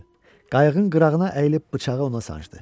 Qayığın qırağına əyilib bıçağı ona sancdı.